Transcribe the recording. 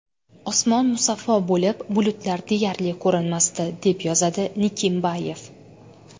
Osmon musaffo bo‘lib, bulutlar deyarli ko‘rinmasdi, deb yozadi Nikimbayev.